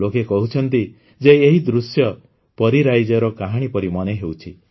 ଲୋକେ କହୁଛନ୍ତି ଯେ ଏହି ଦୃଶ୍ୟ ପରୀରାଇଜର କାହାଣୀ ପରି ମନେହେଉଛି